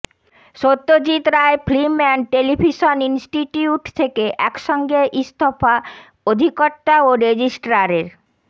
Satyajit Ray film and television institute থেকে একসঙ্গে ইস্তফা অধিকর্তা ও রেজিস্ট্রারের